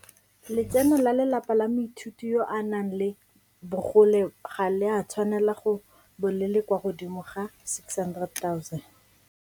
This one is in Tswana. Letseno la lelapa la moithuti yo a nang le bogole ga le a tshwanela go bo le le kwa godimo ga 600 000.